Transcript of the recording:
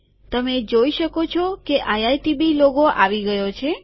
તમે જોઈ શકો છો કે આઈઆઈટીબી લોગો આવી ગયો છે